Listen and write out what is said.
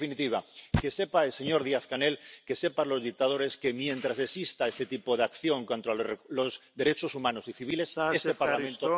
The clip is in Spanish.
En definitiva, que sepa el señor Díaz Canel, que sepan los dictadores, que, mientras exista ese tipo de acción contra los derechos humanos y civiles, este Parlamento...